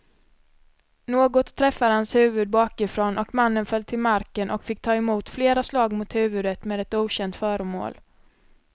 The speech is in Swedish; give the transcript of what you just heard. Något träffade hans huvud bakifrån och mannen föll till marken och fick ta emot flera slag mot huvudet med ett okänt föremål.